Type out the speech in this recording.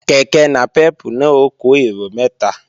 Kèké nàpẹ́pù náà ó kó èrò mẹ́ta